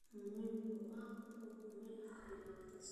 Moi waxa uu xukumayay afar iyo labaatan sano.